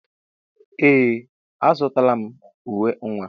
Ee! Azụtala m uwe nwa.